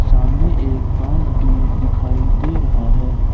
सामने एक बांस भी दिखाई दे रहा है ।